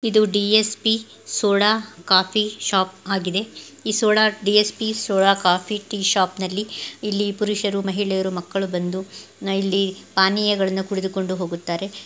ಇದು DSP coffee soda shop ಆಗಿದೆ ಈ ಸೋಡಾ ಡಿ.ಎಸ್.ಪಿ ಕಾಫಿ ಸೋಡಾ ಶಾಪ್ನಲ್ಲಿ ಇಲ್ಲಿ ಪುಷರು ಮಹಿಳೆಯರು ಮಕ್ಕಳು ಬಂದು ಇಲ್ಲಿ ಪಾನೀಯಗಳನ್ನು ಕುಡಿದುಕೊಂಡು ಹೋಗುತ್ತಾರೆ.